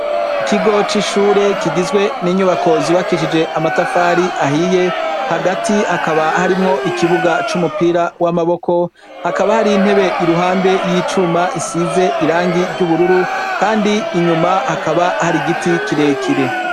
Ikigo c'ishure kigizwe n'inyubako zubakishijwe n'amatafari ahiye. Hagati hakaba harimwo ikibuga c'umupira w' amaboko. Hakaba hariho intebe iruhande y'icuma isize irangi ry'ubururu. Kandi inyuma hakaba hari igiti kirekire.